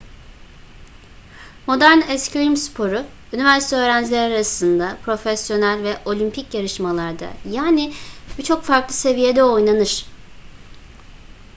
modern eskrim sporu üniversite öğrencileri arasında profesyonel ve olimpik yarışmalarda yani birçok farklı seviyede oynanır